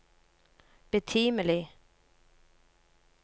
betimelig